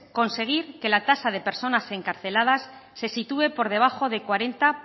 conseguir que la tasa de personas encarceladas se sitúe por debajo de cuarenta